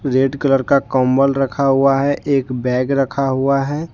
Red colour का कंबल रखा हुआ है एक बैग रखा हुआ है।